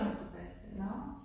Så flyttede hun tilbage til Ærø